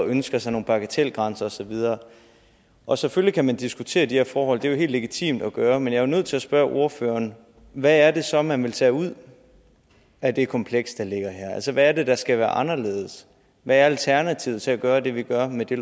ønskede sig nogle bagatelgrænser og så videre og selvfølgelig kan man diskutere de her forhold det er jo helt legitimt at gøre men jeg er nødt til at spørge ordføreren hvad er det så man vil tage ud af det kompleks der ligger her altså hvad er det der skal være anderledes hvad er alternativet til at gøre det vi gør med det